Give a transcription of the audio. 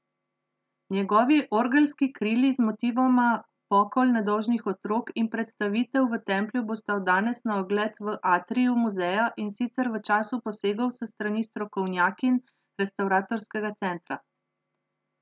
Njegovi orgelski krili z motivoma Pokol nedolžnih otrok in Predstavitev v Templju bosta od danes na ogled v atriju muzeja, in sicer v času posegov s strani strokovnjakinj Restavratorskega centra.